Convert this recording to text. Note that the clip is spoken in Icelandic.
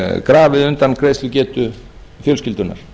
grafið undan greiðslugetu fjölskyldunnar